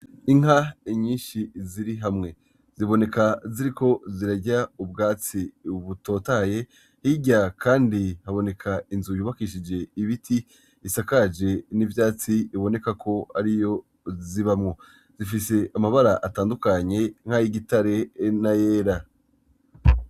Inka inyinshi ziri hamwe ziboneka ziri ko zirarya ubwatsi ubutotaye hirya, kandi haboneka inzu yubakishije ibiti isakaje n'ivyatsi iboneka ko ari yo zibamwo zifise amabara atandukanye nk'ay'igitare na yera.